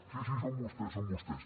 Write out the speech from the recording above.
sí sí són vostès són vostès